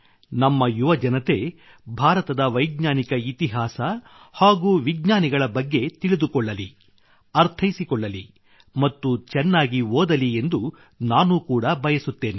ನಮ್ಮ ಯುವಜನತೆ ಭಾರತದ ವೈಜ್ಞಾನಿಕ ಇತಿಹಾಸ ಹಾಗೂ ವಿಜ್ಞಾನಿಗಳ ಬಗ್ಗೆ ತಿಳಿದುಕೊಳ್ಳಲಿ ಅರ್ಥೈಸಿಕೊಳ್ಳಲಿ ಮತ್ತು ಚೆನ್ನಾಗಿ ಓದಲಿ ಎಂದು ನಾನು ಕೂಡ ಬಯಸುತ್ತೇನೆ